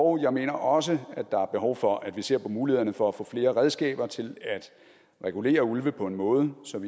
og jeg mener også der er behov for at vi ser på mulighederne for at få flere redskaber til at regulere ulve på en måde som